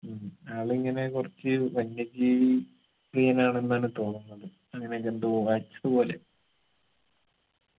ഉം ആളിങ്ങനെ കുറച്ച് വന്യജീവി പ്രിയനാണെന്നാണ് തോന്നുന്നത് അങ്ങനൊക്കെ എന്തോ വായിച്ചത് പോലെ